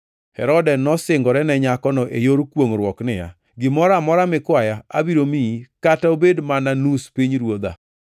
Herode nosingore ne nyakono e yor kwongʼruok niya, “Gimoro amora mikwaya abiro miyi, kata obed mana nus pinyruodha.”